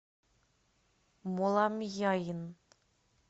моламьяйн